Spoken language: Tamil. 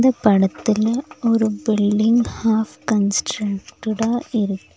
இ படத்துல ஒரு பில்டிங் ஹாஃல்ப் கன்ஸ்ட்ரன்டடா இருக்--